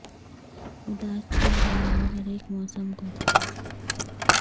اداس چھو ڑ گیا وہ ہر ایک موسم کو